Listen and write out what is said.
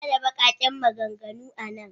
An hana baƙaƙen maganganu a nan.